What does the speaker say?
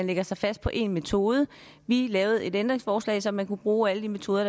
lægge sig fast på én metode vi lavede et ændringsforslag så man kunne bruge alle de metoder